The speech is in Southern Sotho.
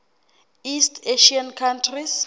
east asian countries